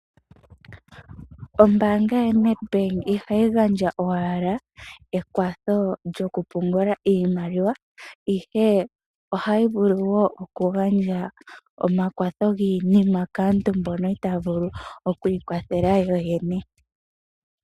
Oombanga yoNEDBANK ihayi gandja owala ekwatho lyoku pungula iimaliwa ihe ohayi vulu wo okugandja omakwatho giinima kaantu mbono itaya vulu okwiikwathela yo yene .